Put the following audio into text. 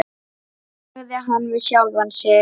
sagði hann við sjálfan sig.